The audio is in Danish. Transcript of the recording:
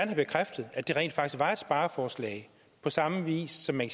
bekræftet at det rent faktisk var et spareforslag på samme vis som man